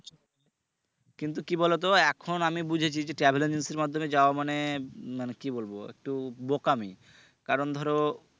কিন্তু কি বলো তো এখন আমি বুঝেছে যে travel agency এর মাধ্যমে যাওয়া মানে উম মানে কি বলব একটু বোকামি কারন ধরো